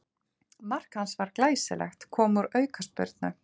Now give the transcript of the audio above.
Mark hans var glæsilegt, kom úr aukaspyrnu.